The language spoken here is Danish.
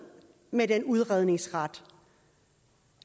med den udredningsret